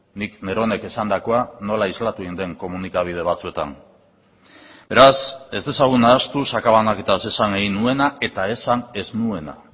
nik neronek esandakoa nola islatu egin den komunikabide batzuetan beraz ez dezagun nahastu sakabanaketaz esan egin nuena eta esan ez nuena